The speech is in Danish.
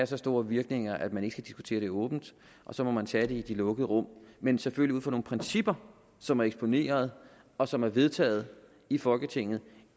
så store virkninger at man ikke skal diskutere det åbent og så må man tage det i de lukkede rum men selvfølgelig ud fra nogle principper som er eksponeret og som er vedtaget i folketinget